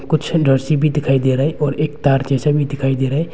कुछ नर्सी भी दिखाई दे रहा और एक तार जैसा भी दिखाई दे रहा है।